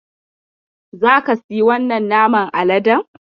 Za ka siyi wannan naman Aladen?